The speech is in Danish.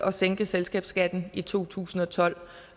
at sænke selskabsskatten i to tusind og tolv